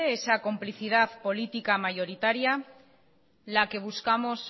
esa complicidad política mayoritaria la que buscamos